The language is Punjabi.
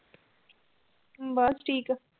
ਬਸ ਠੀਕ